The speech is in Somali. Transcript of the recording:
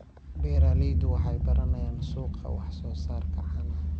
Beeraleydu waxay baranayaan suuqa wax-soo-saarka caanaha.